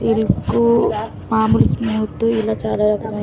ఇరుకు మాములు స్మూత్ ఇలా చాలా రకమైన.